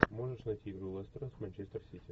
можешь найти игру лестера с манчестер сити